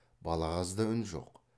балағазда үн жоқ